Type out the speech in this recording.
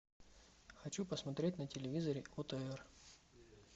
хочу посмотреть на телевизоре отр